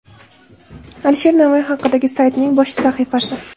Alisher Navoiy haqidagi saytning bosh sahifasi.